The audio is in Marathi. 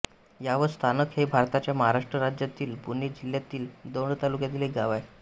यावत स्थानक हे भारताच्या महाराष्ट्र राज्यातील पुणे जिल्ह्यातील दौंड तालुक्यातील एक गाव आहे